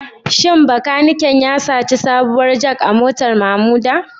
Shin makanikin ya saci sabuwar Jack a motar Mamuda?